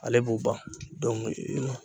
Ale b'u ban